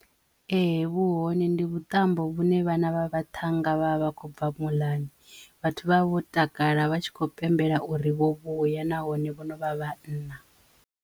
Ehe vhu hone ndi vhuṱambo vhune vhana vha vhaṱhannga vha vha vha khou bva muḽani vhathu vha vha vho takala vha tshi kho pembela uri vho vhuya nahone vho no vha vhanna.